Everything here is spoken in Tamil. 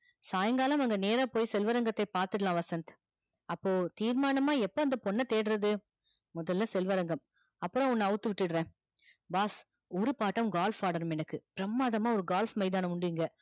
சாய்ங்காலம் அங்க நேரா போய் செல்வரங்கத்த பாத்துடலாம் வசந்த் அப்போ தீர்மானமா எப்போ அந்த பொண்ண தேடுறது மோதல் ல செல்வரங்கம் அப்பறம் உன்ன அவுத்து விட்டுர்ற boss பிரம்மாதமா ஒர gulf மைதானம் உண்டு இங்க